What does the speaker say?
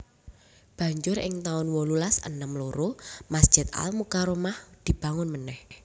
Banjur ing taun wolulas enem loro Masjid Al Mukarromah dibangun manèh